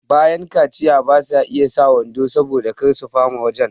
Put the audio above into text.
bayan kaciya basa iya sa wando saboda kar su fama wajan